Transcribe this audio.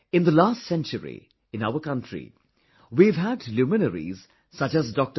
In the last century, in our country, we have had luminaries such as Dr